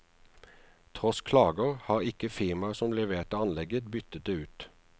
Tross klager, har ikke firmaet som leverte anlegget byttet det ut.